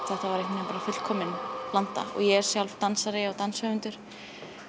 þetta var fullkomin blanda ég er sjálf dansari og danshöfundur